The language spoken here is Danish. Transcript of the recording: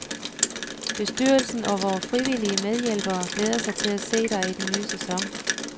Bestyrelsen og vore frivillige medhjælpere glæder sig til at se dig i den nye sæson.